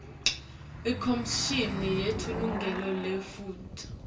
ikhomishini yemalungelo eluntfu